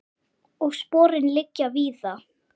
Og sporin liggja víða.